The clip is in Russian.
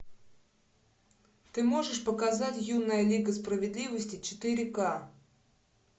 ты можешь показать юная лига справедливости четыре к